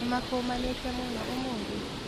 Nĩmakũmanĩte mũno ũmũthĩ?